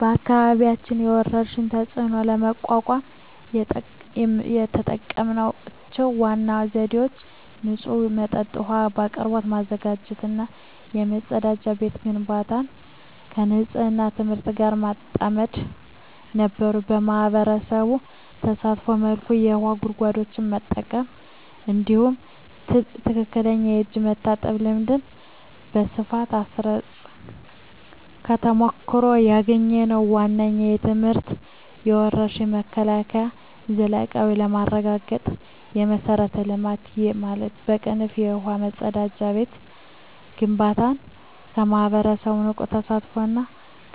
በአካባቢያችን የወረርሽኝን ተፅዕኖ ለመቋቋም የተጠቀምንባቸው ዋና ዘዴዎች ንጹህ የመጠጥ ውሃ አቅርቦት ማረጋገጥ እና የመጸዳጃ ቤት ግንባታን ከንፅህና ትምህርት ጋር ማጣመር ነበሩ። ማኅበረሰቡን ባሳተፈ መልኩ የውሃ ጉድጓዶችን ጠብቀን፣ እንዲሁም ትክክለኛ የእጅ መታጠብ ልምድን በስፋት አስረፅን። ከተሞክሮ ያገኘነው ዋነኛው ትምህርት የወረርሽኝ መከላከል ዘላቂነት የሚረጋገጠው የመሠረተ ልማት (ውሃ፣ መጸዳጃ ቤት) ግንባታን ከማኅበረሰቡ ንቁ ተሳትፎ እና